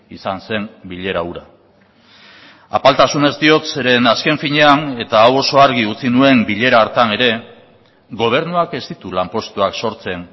izan zen bilera hura apaltasunez diot zeren azken finean eta hau oso argi utzi nuen bilera hartan ere gobernuak ez ditu lanpostuak sortzen